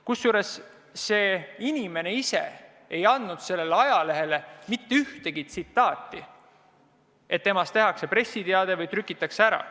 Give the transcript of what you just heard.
Kusjuures see inimene ise ei andnud sellele ajalehele mitte mingit intervjuud, ta ei teadnud, et temast tehakse pressiteade ja see trükitakse ära.